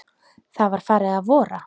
Það var farið að vora.